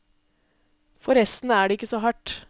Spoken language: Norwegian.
Forresten er det ikke så hardt.